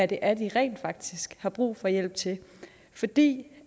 det er de rent faktisk har brug for hjælp til for det